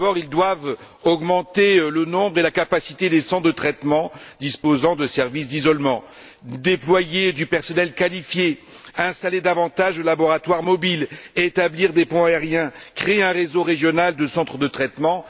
Tout d'abord, elle doit viser à augmenter le nombre et la capacité des centres de traitement disposant de services d'isolement, à déployer du personnel qualifié, à installer davantage de laboratoires mobiles, à établir des ponts aériens, à créer un réseau régional de centres de traitement.